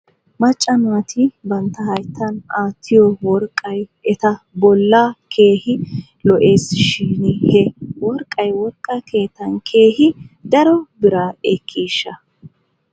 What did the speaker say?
Macca naati bantta hayttan aattiyoo worqqay eta bolla keehi lo'es shin he worqqay worqqa keettan keehi daro biraa ekkiishsha ?